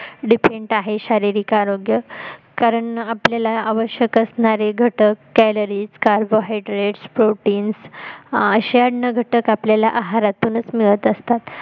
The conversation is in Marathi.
depend आहे शारीरिक आरोग्य कारण आपल्याला आवश्यक असणारे घटक calories carbon hydrets proteins असे अन्न घटक आपल्याला आहारातूनच मिळत असतात